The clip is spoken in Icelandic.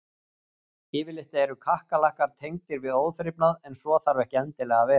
Yfirleitt eru kakkalakkar tengdir við óþrifnað en svo þarf ekki endilega að vera.